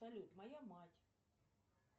салют моя мать